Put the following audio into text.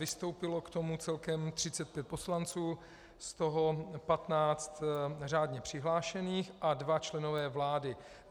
Vystoupilo k tomu celkem 35 poslanců, z toho 15 řádně přihlášených, a dva členové vlády.